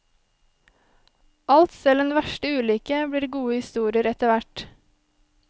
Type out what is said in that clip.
Alt, selv den verste ulykke, blir gode historier etter hvert.